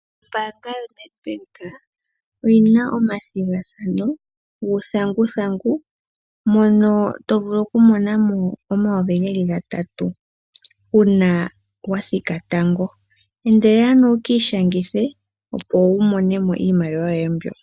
Ombanga yo Nedbank oyina omathingathano nguthanguthangu mono tovulu oku monako 3,000 una wathika tango, endelela ano wikishangithe opo wumonemo iimaliwa yoye mbyo.